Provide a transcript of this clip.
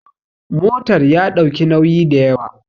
motar ya ɗauki nauyi da yawa